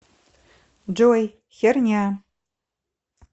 джой херня